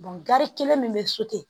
gari kelen min bɛ so ten